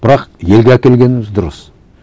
бірақ елге әкелгеніміз дұрыс